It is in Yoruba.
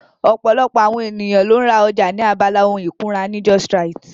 Ọ̀pọ̀lọpọ̀ àwọn ènìyàn ló ń ra ọjà ní abala ohun ìkunra ní justrite